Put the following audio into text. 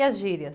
E as gírias?